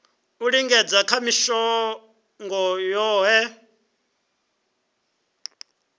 u lingedza ha mishongo yohe